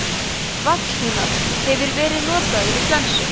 vallhumall hefur verið notaður við flensu